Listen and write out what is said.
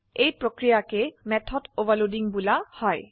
এই প্ৰক্ৰিয়াকে method overloading বুলা হয়